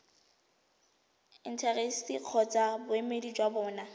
intaseteri kgotsa boemedi jwa bona